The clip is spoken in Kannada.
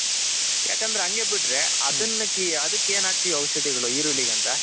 ಯಾಕಂದ್ರೆ ಹಂಗೆ ಬಿಟ್ರೆ ಅದಕ್ಕ್ ಏನ್ ಹಾಕ್ತಿವ್ ಔಷದಿಗಳು ಈರುಳ್ಳಿ ಗಂತ